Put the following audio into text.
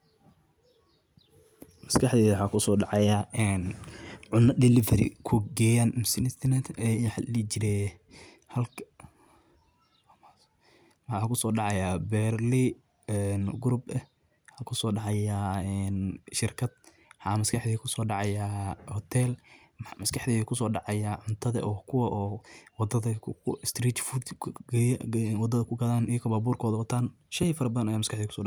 Maskaxdeyda waxa kusodacaya een cuna Delivery kugeyan misen waxa ladihijire halka beeralaye Group ah waxa kusodacay een waxa maskaadeyda kuso dacaya Hotel een waxa maskadeyda kuso daacaqa cuntada kuwa oo waadhada kugaadan wataan sheey fara badan aya maskaxdeyda kuso dacayan.